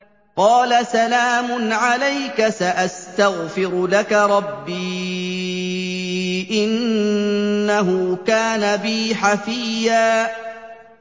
قَالَ سَلَامٌ عَلَيْكَ ۖ سَأَسْتَغْفِرُ لَكَ رَبِّي ۖ إِنَّهُ كَانَ بِي حَفِيًّا